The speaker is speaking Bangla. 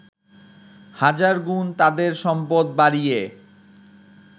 হাজার গুণ তাদের সম্পদ বাড়িয়ে